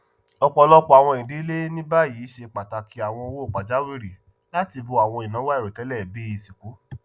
ọpọlọpọ àwọn ìdílé ní báyìí ṣe pàtàkì àwọn owó pajàwìrì láti bó àwọn ináwó àìròtẹlẹ bíi ìsìnkú